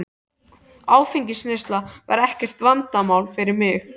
Áfengisneysla var ekkert vandamál fyrir mig.